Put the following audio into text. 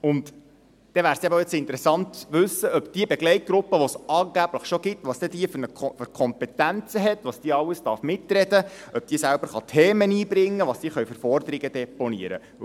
Es wäre interessant zu wissen, welche Kompetenzen diese Begleitgruppe hat, die es angeblich schon gibt, wie sie mitreden darf, ob sie selbst Themen einbringen kann, welche Forderungen sie deponieren kann.